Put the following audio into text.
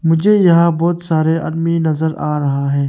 मुझे यहां बहुत सारे आदमी नजर आ रहा है।